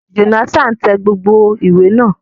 Jonathan tẹ gbogbo ìwé náà.